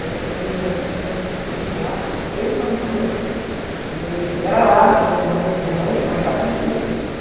Essas meninas mesmo, tem umas cinco lá, três são irmãs, e e eram lá as reuniões, porque minha mãe, lá em casa, não podia ter.